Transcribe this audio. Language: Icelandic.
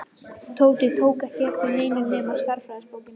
Tóti tók ekki eftir neinu nema stærðfræðibókinni.